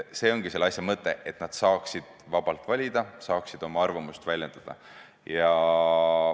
See ongi selle asja mõte – saada vabalt valida, saada oma arvamust väljendada.